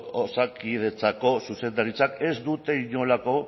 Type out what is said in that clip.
osakidetzako zuzendaritzak ez dute inolako